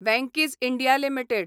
Venky's India limited